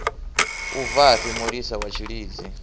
u bvafhi mulisa wa tshilidzi